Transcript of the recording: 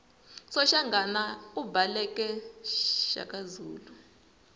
soshangana ibhaleke shakazulu